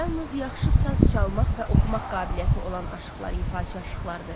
Yalnız yaxşı saz çalmaq və oxumaq qabiliyyəti olan aşıqlar ifaçı aşıqlardır.